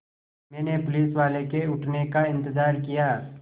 मैंने पुलिसवाले के उठने का इन्तज़ार किया